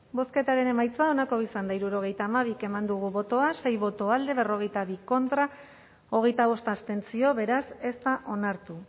bozketaren emaitza onako izan da hirurogeita hamabi eman dugu bozka sei boto alde berrogeita bi contra hogeita bost abstentzio beraz ez da onartu